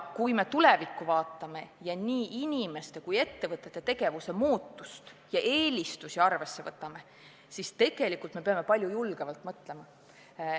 Kui me tulevikku vaatame ja nii inimeste kui ka ettevõtete tegevuse muutumist ja eelistusi arvesse võtame, siis tegelikult me peame palju julgemalt mõtlema.